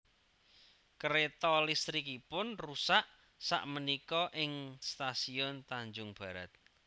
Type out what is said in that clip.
Kereto listrikipun rusak sak menika ing stasiun Tanjung Barat